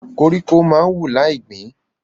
Koríko máa ń wù láì gbín.